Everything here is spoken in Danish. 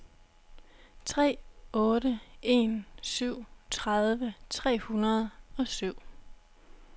tre otte en syv tredive tre hundrede og syv